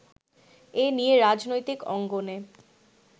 এ নিয়ে রাজনৈতিক অঙ্গনে